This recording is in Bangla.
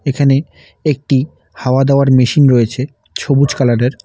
এখানে একটি হাওয়া দেওয়ার মেশিন রয়েছে সবুজ কালারের।